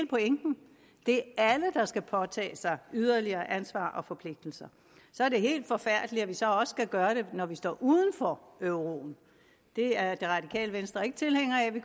pointen det er alle der skal påtage sig yderligere ansvar og forpligtelser så er det helt forfærdeligt at vi så også skal gøre det når vi står uden for euroen det er det radikale venstre ikke tilhænger af at vi